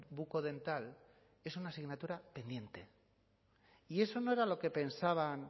bucodental es una asignatura pendiente y eso no era lo que pensaban